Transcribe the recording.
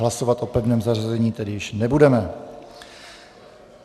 Hlasovat o pevném zařazení tedy již nebudeme.